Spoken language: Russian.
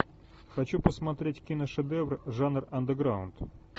хочу посмотреть киношедевр жанр андеграунд